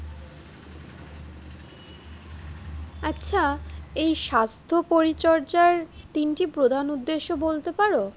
আচ্ছা এই স্বাস্থ্য পরিচর্যার তিনটি প্রধান উদ্দেশ্য বলতে পার?